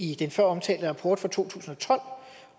i den føromtalte rapport fra to tusind og tolv